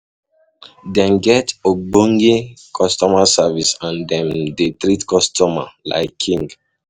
um Dem get ogbonge customer service and dem um dey treat customer um like king